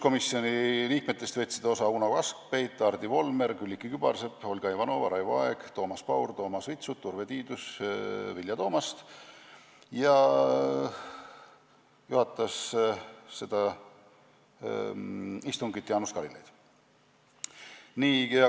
Komisjoni liikmetest võtsid istungist osa Uno Kaskpeit, Hardi Volmer, Külliki Kübarsepp, Olga Ivanova, Raivo Aeg, Toomas Paur, Toomas Vitsut, Urve Tiidus, Vilja Toomast ja juhatas seda istungit Jaanus Karilaid.